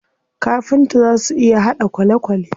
Kafinta zaa su iya haɗa kwalekwale.